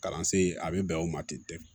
Kalansen a bɛ bɛn o ma ten